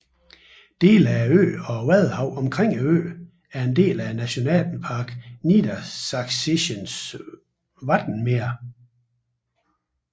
Dele af øen og vadehavet omkring øen er en del af Nationalpark Niedersächsisches Wattenmeer